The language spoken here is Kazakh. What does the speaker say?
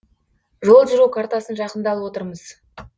жол жүру картасын жақында алып отырмыз